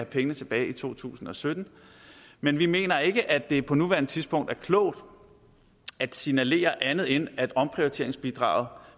pengene tilbage i to tusind og sytten men vi mener ikke at det på nuværende tidspunkt er klogt at signalere andet end at omprioriteringsbidraget